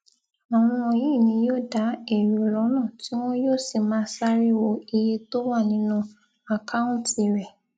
àwọn yìí ni yóò da èrò lọnà tí wọn yóò sì máa sáré wo iye tó wà nínú àkáùntì rẹ